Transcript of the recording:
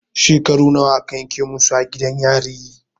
Shekaru nawa a ka yanke musu a gidan yari?